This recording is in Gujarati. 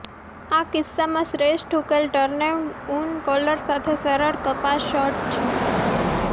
આ કિસ્સામાં શ્રેષ્ઠ ઉકેલ ટર્ડેનઉન કોલર સાથે સરળ કપાસ શર્ટ છે